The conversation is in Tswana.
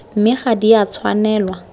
mme ga di a tshwanelwa